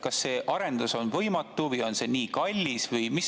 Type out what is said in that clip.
Kas see arendus on võimatu või on see nii kallis?